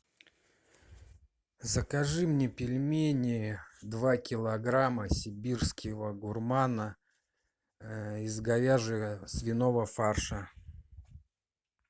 закажи мне пельмени два килограмма сибирского гурмана из говяжьего свиного фарша